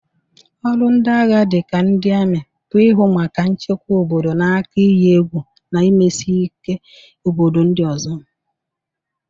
Ọrụ ndị agha dịka ndị amị, bụ ihụ maka nchekwa obodo n'aka iyi egwu na mmesike obodo ndị ọzọ.